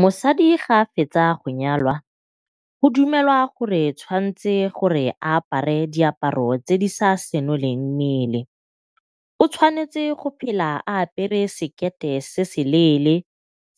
Mosadi ga a fetsa go nyalwa, go dumelwa gore tshwanetse gore a apare diaparo tse di sa senoleng mmele. O tshwanetse go phela a apere sekete se seleele